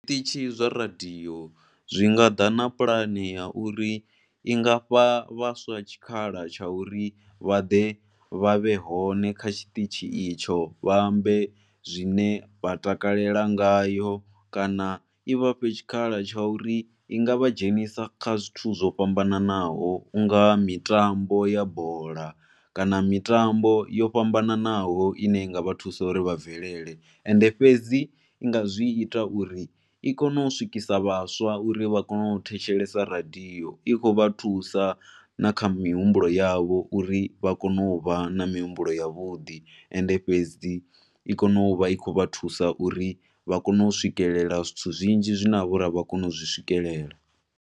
Zwiṱitshi zwa radio zwi nga ḓa na puḽane ya uri i nga fha vhaswa tshikhala tsha uri vha ḓe vha vhe hone kha tshiṱitshi itsho vha ambe zwine vha takalela ngayo kana i vha fhe tshikhala tsha uri i nga vha dzhenisa kha zwithu zwo fhambanaho. U nga mitambo ya bola kana mitambo yo fhambananaho ine ya nga vha thusa uri vha bvelele. And fhedzi i nga zwi ita uri i kone u swikisa vhaswa uri vha kone u thetshelesa radio, i khou vha thusa kha na kha mihumbulo yavho uri vha kone u vha na mihumbulo yavhuḓi. And fhedzi i kone u vha i khou vha thusa uri vha kone u swikelela zwithu zwinzhi zwine ha vha uri a vha koni u zwi swikelela.